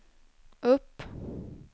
upp